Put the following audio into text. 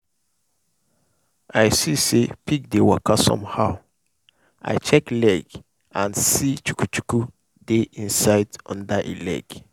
i see say pig dey waka somehow i check leg and see chuku-chuku dey inside under e leg.